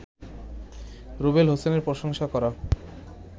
রুবেল হোসেনের প্রশংসা করা